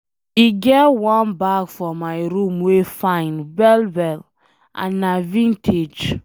E get wan bag for my room wey fine well well and na vintage.